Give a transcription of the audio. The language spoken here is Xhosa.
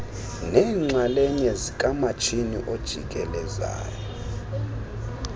neenxalanye zikamatshini ojikelezayo